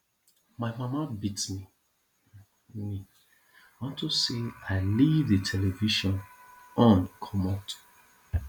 my mama beat me unto say i leave the television on comot